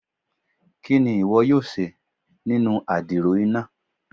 Kini iwọ yoo ṣe inu adiro ina?